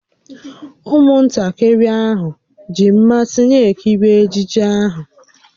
Ụmụntakịrị ahụ ji mmasị na-ekiri ejije ahụ